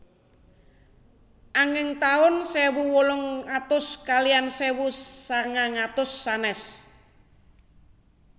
Anging taun sewu wolung atus kaliyan sewu sagang atus sanès